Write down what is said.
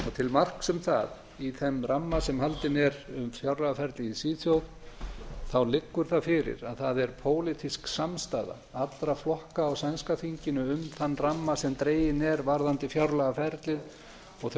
til marks um það í þeim ramma sem haldinn er um fjárlagaferlið í svíþjóð leggur það fyrir að það er pólitísk samstaða allra flokka á sænska þinginu um þann ramma sem dreginn er varðandi fjárlagaferlið og þau